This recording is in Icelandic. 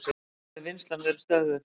Því hafi vinnslan verið stöðvuð.